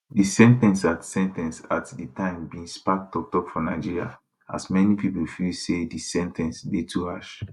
di sen ten ce at sen ten ce at di time bin spark toktok for nigeria as many pipo feel say di sen ten ce dey too harsh